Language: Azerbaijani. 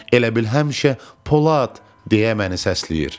Elə bil həmişə Polad deyə məni səsləyir.